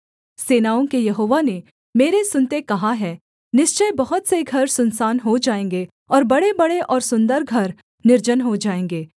सेनाओं के यहोवा ने मेरे सुनते कहा है निश्चय बहुत से घर सुनसान हो जाएँगे और बड़ेबड़े और सुन्दर घर निर्जन हो जाएँगे